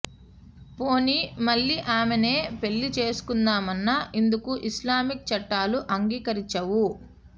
పోనీ మళ్ళీ ఆమెనే పెళ్ళి చేసుకుందామన్నా ఇందుకు ఇస్లామిక్ చట్టాలు అంగీకరించవు